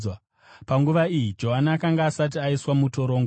(Panguva iyi, Johani akanga asati aiswa mutorongo.)